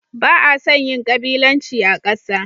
Ba a son yin gabilanci a ƙasa.